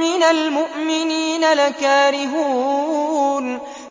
مِّنَ الْمُؤْمِنِينَ لَكَارِهُونَ